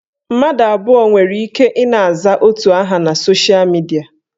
Mmadụ abụọ nwere ike ị na-aza otu aha na sosha midia